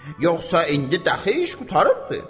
Yoxsa indi dəxi iş qurtarıbdır.